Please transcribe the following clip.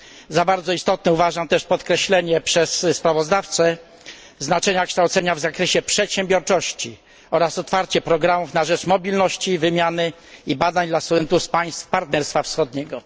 Za bardzo istotne uważam też podkreślenie przez sprawozdawcę znaczenia kształcenia w zakresie przedsiębiorczości oraz otwarcie programów na rzecz mobilności, wymiany i badań dla studentów z państw Partnerstwa Wschodniego.